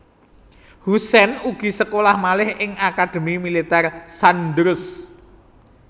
Hussein ugi sekolah malih ing Akademi Militèr Sandhurst